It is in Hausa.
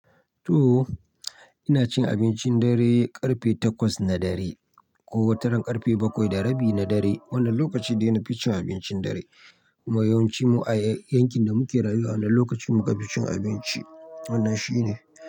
To! Ina cin abincin dare ƙarfe takwas na dare ko wataran ƙarfe bakwai da rabi na dare. Wannan lokaci dai na fi cin abincin dare kuma yawancin mu a yankin da muke rayuwa a wannan lokaci mu ka fi cin abinci. Wannan shi ne.